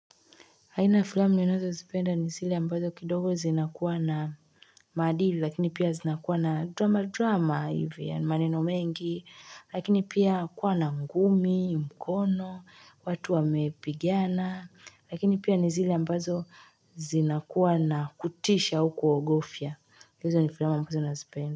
Aina ya filamu ninazozipenda ni zile ambazo kidogo zinakuwa na madili lakini pia zinakuwa na drama drama hivi yaani maneno mengi lakini pia kuwa na ngumi mkono watu wamepigana lakini pia ni zile ambazo zinakuwa na kutisha au kuogofya hizo ni filamu ambazo nazipenda.